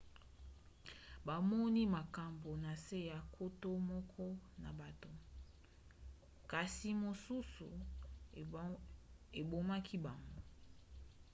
bamoni makambo na se ya nkoto moko na bato kasi mosusu ebomaki bango